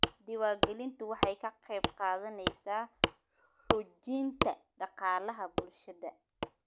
Diiwaangelintu waxay ka qayb qaadanaysaa xoojinta dhaqaalaha bulshada.